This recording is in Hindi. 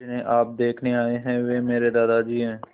जिन्हें आप देखने आए हैं वे मेरे दादाजी हैं